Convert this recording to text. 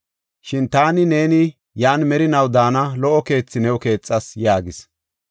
Shin taani neeni yan merinaw daana lo77o keethe new keexas” yaagis.